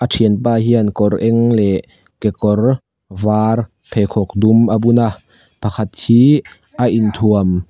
a thianpa hian kawr eng leh kekawr var pheikhawk dum a bun a pakhat hi a in thuam--